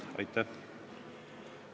Aitäh!